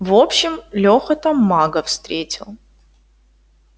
в общем леха там мага встретил